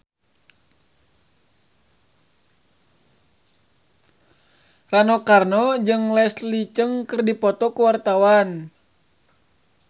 Rano Karno jeung Leslie Cheung keur dipoto ku wartawan